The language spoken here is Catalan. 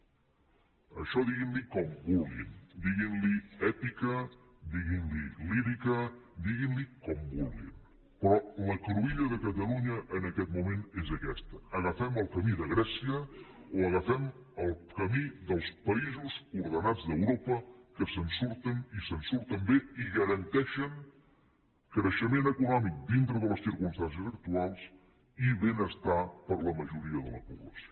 a això diguin li com vulguin diguin li èpica diguin li lírica diguin li com vulguin però la cruïlla de catalunya en aquest moment és aquesta agafem el camí de grècia o agafem el camí dels països ordenats d’europa que se’n surten i se’n surten bé i garanteixen creixement econòmic dintre de les circumstàncies actuals i benestar per a la majoria de la població